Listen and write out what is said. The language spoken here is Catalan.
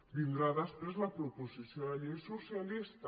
vindrà després la proposició de llei socialista